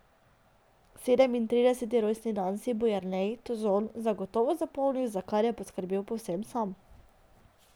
Sedemintrideseti rojstni dan si bo Jernej Tozon zagotovo zapomnil, za kar je poskrbel povsem sam.